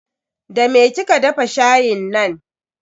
Da me kika dafa shayin nan?